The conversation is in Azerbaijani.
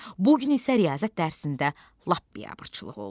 Bu gün isə riyaziyyat dərsində lap biabırçılıq oldu.